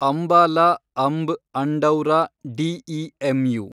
Ambala Amb Andaura DEMU